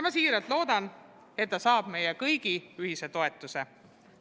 Ma siiralt loodan, et ta saab meie kõigi ühise toetuse.